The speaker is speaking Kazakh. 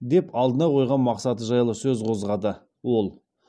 деп алдына қойған мақсаты жайлы сөз қозғады ол